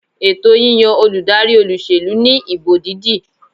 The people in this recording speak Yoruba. Ètò yíyan olùdarí olúsèlú ní ìbò dídì